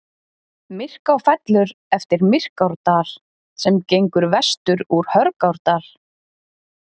Myrká fellur eftir Myrkárdal sem gengur vestur úr Hörgárdal.